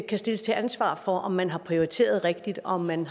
kan stilles til ansvar for om man har prioriteret rigtigt og om man